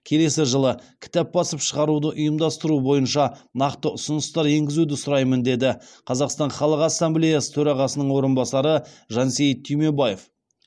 келесі жылы кітап басып шығаруды ұйымдастыру бойынша нақты ұсыныстар енгізуді сұраймын деді қазақстан халық ассамблеясы төрағасының орынбасары жансейіт түймебаев